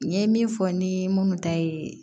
N ye min fɔ ni minnu ta ye